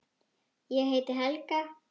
Ég heiti Helga!